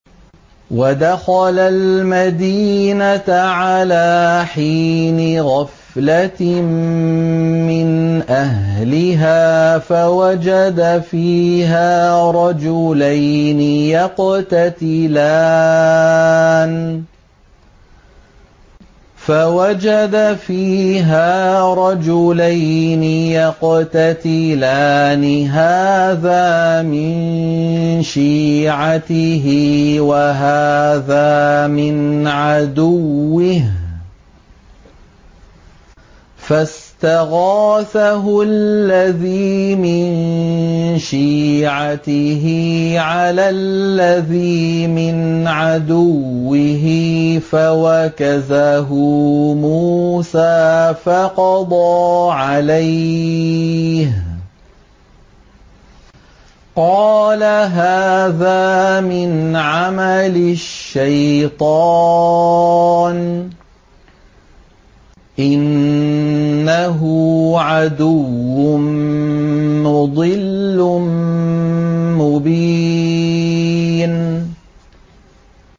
وَدَخَلَ الْمَدِينَةَ عَلَىٰ حِينِ غَفْلَةٍ مِّنْ أَهْلِهَا فَوَجَدَ فِيهَا رَجُلَيْنِ يَقْتَتِلَانِ هَٰذَا مِن شِيعَتِهِ وَهَٰذَا مِنْ عَدُوِّهِ ۖ فَاسْتَغَاثَهُ الَّذِي مِن شِيعَتِهِ عَلَى الَّذِي مِنْ عَدُوِّهِ فَوَكَزَهُ مُوسَىٰ فَقَضَىٰ عَلَيْهِ ۖ قَالَ هَٰذَا مِنْ عَمَلِ الشَّيْطَانِ ۖ إِنَّهُ عَدُوٌّ مُّضِلٌّ مُّبِينٌ